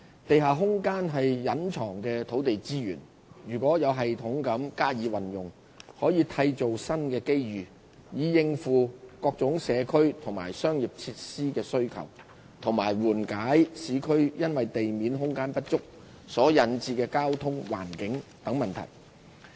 地下空間是隱藏的土地資源，如能有系統地加以運用，可締造新的機遇，以應付各種社區及商業設施需求及緩解市區因地面空間不足所引致的交通、環境等問題。